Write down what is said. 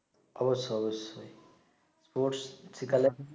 অবশ্যই অবশ্যই স্পোর্টস শিখালেম